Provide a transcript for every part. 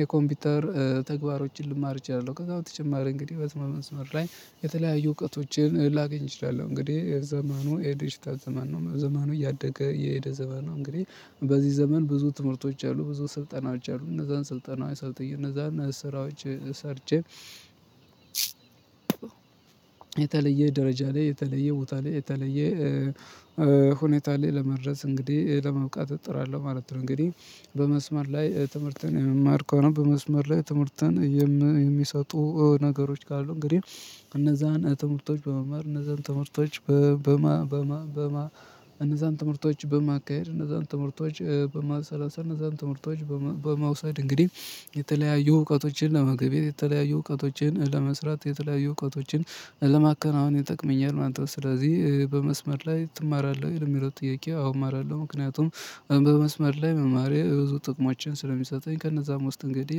የኮምፒውተር ተግባሮችን ልማር እችላለሁ። ከዛ በተጨማሪ እንግዲህ በስመ መንስመር ላይ የተለያዩ እውቀቶችን ላገኝ እችላለሁ። እንግዲህ ዘመኑ የዲጂታል ዘመን ነው ዘመኑ እያደገ የሄደ ዘመን ነው። እንግዲህ በዚህ ዘመን ብዙ ትምህርቶች አሉ ብዙ ስልጠናዎች አሉ። እነዛን ስልጠናዊ ሰልጥኜ እነዛን ስራዎች ሰርቼ የተለየ ደረጃ ላይ የተለየ ቦታ ላይ የተለየ ሁኔታ ላይ ለመድረስ እንግዲህ ለመብቃት እጥራለሁ ማለት ነው። እንግዲህ በመስመር ላይ ትምህርትን የመማር ከሆነ በመስመር ላይ ትምህርትን የሚሰጡ ነገሮች ካሉ እንግዲህ እነዛን ትምህርቶች በመምህር እነዛን ትምህርቶች በማ በማ በማ እነዛን ትምህርቶች በማካሄድ እነዛን ትምህርቶች በማሰላሰል እነዛን ትምህርቶች በማውሰድ እንግዲህ የተለያዩ እውቀቶችን ለመገብየት የተለያዩ እውቀቶችን ለመስራት የተለያዩ እውቀቶችን ለማከናወን ይጠቅመኛል ማለት ነው። ስለዚህ በመስመር ላይ ትማራለህ? ለሚለው ጥያቄ አሁን እማራለሁ። ምክንያቱም በመስመር ላይ መማሬ ብዙ ጥቅሞችን ስለሚሰጠኝ ከነዛም ውስጥ እንግዲህ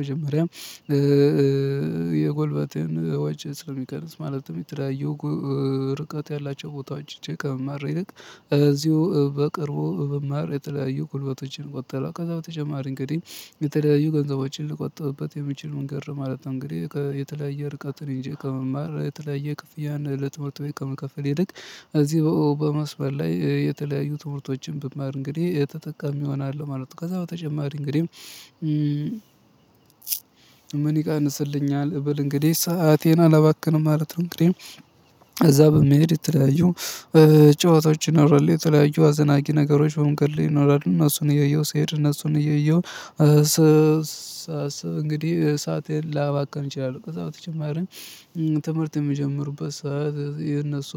መጀመሪያም የጎልበቴን ወጪ ስለሚቀንስ ማለትም የተለያዩ ርቀት ያላቸው ቦታዎች ሄጄ ከምማር ይልቅ እዚሁ በቅርቡ ብመማር የተለያዩ ጉልበቶችን ቆጥባለሁ። ከዛ በተጨማሪ እንግዲህ የተለያዩ ገንዘቦችን ልቆጥብብት የምችል መንገድ ማለት ነው። እንግዲህ የተለያየ ርቀትን ሄጄ ከምማር የተለያየ ክፍያን ለትምህርት ቤት ከመከፈል ይልቅ እዚህ በመስበር ላይ የተለያዩ ትምህርቶችን ብማር እንግዲህ ተጠቃሚ እሆናለሁ ማለት ነው። ከዛ በተጨማሪ እንግዲህ ምን ይቀንስልኛል ብል እንግዲህ ሰአቴን አላባክንም ማለት ነው። እንግዲህ እዛ በመሄድ የተለያዩ ጨዋታዎች ይኖራል የተለያዩ አስደናቂ ነገሮች በመንገድ ላይ ይኖራሉ። እነሱን እየየሁ ስሄድ እነሱን እየየሁ ሳስብ እንግዲህ ሰአቴን ላባከን እችላለሁ። ከዛ በተጨማሪም ትምህርት የሚጀምሩበት ሰዓት የነሱ